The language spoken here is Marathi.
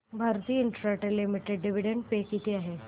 भारती इन्फ्राटेल लिमिटेड डिविडंड पे किती आहे